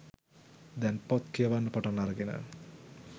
දැන් පොත් කියවන්න පටන් අරගෙන